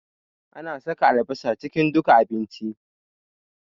Ana saka albasa cikin duka abinci